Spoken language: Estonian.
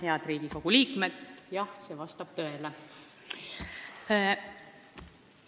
Head Riigikogu liikmed!